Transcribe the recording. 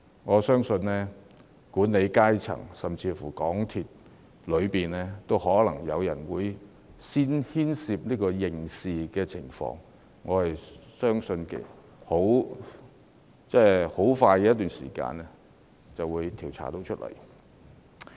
我相信管理層甚至香港鐵路有限公司內部也可能有人須負上刑事責任，而短期內應會水落石出。